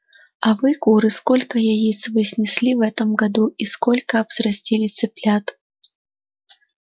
а вы куры сколько яиц вы снесли в этом году и сколько взрастили цыплят